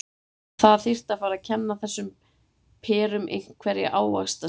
Það þyrfti að fara að kenna þessum perum einhverja ávaxtasiði.